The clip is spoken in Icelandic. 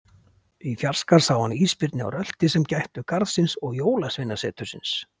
Í fjarska sá hann ísbirni á rölti sem gættu garðsins og Jólasveinasetursins.